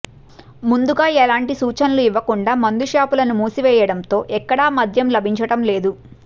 ముందుగా ఎలాంటి సూచనలు ఇవ్వకుండా మందు షాపులను మూసివేయడంతో ఎక్కడా మద్యం లభించడంలేదు